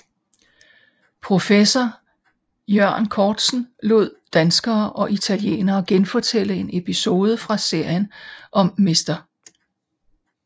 Professor Iørn Korzen lod danskere og italienere genfortælle en episode fra serien om Mr